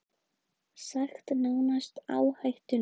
Sagt nánast áhættulaust